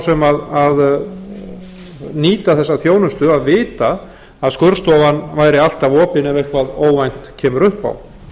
sem nýta þessa þjónustu að vita að skurðstofan væri alla opin ef eitthvað óvænt kemur upp á